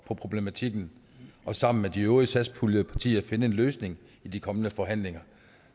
på problematikken og sammen med de øvrige satspuljepartier finde en løsning i de kommende forhandlinger